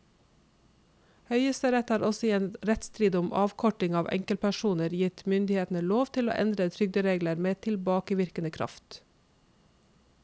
Høyesterett har også i en rettsstrid om avkorting av enkepensjoner gitt myndighetene lov til å endre trygderegler med tilbakevirkende kraft.